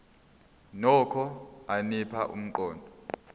nokho anika umqondo